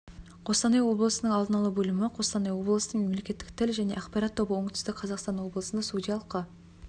қостанай облысының алдын алу бөлімі қостанай облысының мемлекеттік тіл және ақпарат тобы оңтүстік қазақстан облысында судьялыққа